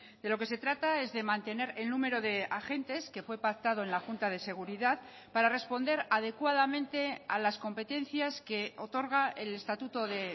de lo que se trata es de mantener el número de agentes que fue pactado en la junta de seguridad para responder adecuadamente a las competencias que otorga el estatuto de